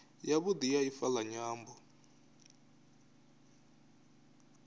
yavhudi ya ifa la nyambo